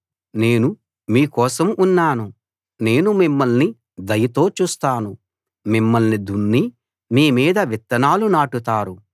నేను మీ కోసం ఉన్నాను నేను మిమ్మల్ని దయతో చూస్తాను మిమ్మల్ని దున్ని మీ మీద విత్తనాలు నాటుతారు